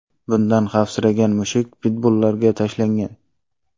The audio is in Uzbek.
Bundan xavfsiragan mushuk pitbullarga tashlangan.